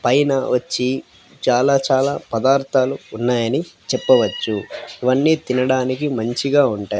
పైనా వచ్చి చాలా చాలా పదార్థాలు ఉన్నాయి అని చెప్పవచ్చు ఇవి అన్ని తినడానికి మంచి గా ఉంటాయ్.